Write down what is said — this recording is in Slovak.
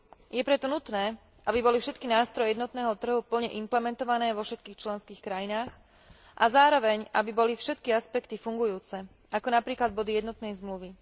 Je preto nutné, aby boli všetky nástroje jednotného trhu plne implementované vo všetkých členských krajinách a zároveň aby boli všetky aspekty fungujúce, ako napríklad body jednotnej zmluvy.